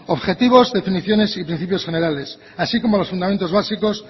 objetivos definiciones y principios generales así como los fundamentos básicos